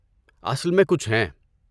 اصل میں کچھ ہیں۔